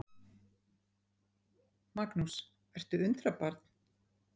Magnús: Ertu undrabarn?